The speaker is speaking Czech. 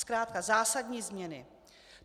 Zkrátka zásadní změny.